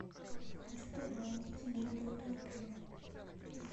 хочу пожаловаться на работу отеля